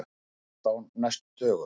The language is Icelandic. Bara helst á næstu dögum.